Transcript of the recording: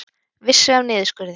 Vissu af niðurskurði